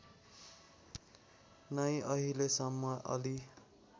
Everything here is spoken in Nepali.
नै अहिलेसम्म अलि